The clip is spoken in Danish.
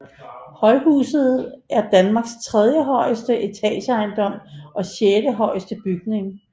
Højhuset er Danmarks tredjehøjeste etageejendom og sjettehøjeste bygning